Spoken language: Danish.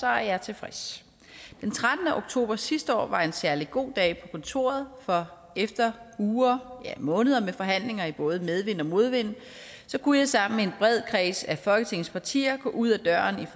er jeg tilfreds den trettende oktober sidste år var en særlig god dag kontoret for efter uger ja måneder med forhandlinger i både medvind og modvind kunne jeg sammen med en bred kreds af folketingets partier gå ud ad døren ved